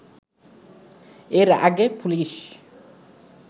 এর আগে পুলিশ